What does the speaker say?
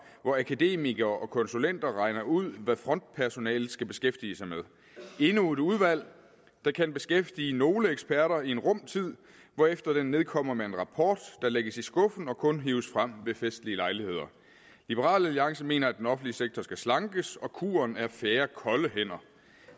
hvor akademikere og konsulenter regner ud hvad frontpersonalet skal beskæftige sig med det er endnu et udvalg der kan beskæftige nogle eksperter en rum tid hvorefter det nedkommer med en rapport der lægges i skuffen og kun hives frem ved festlige lejligheder liberal alliance mener at den offentlige sektor skal slankes og at kuren er færre kolde hænder